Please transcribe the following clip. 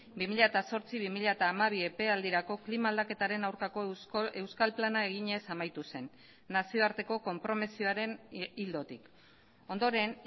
bi mila zortzi bi mila hamabi epealdirako klima aldaketaren aurkako euskal plana eginez amaitu zen nazioarteko konpromisoaren ildotik ondoren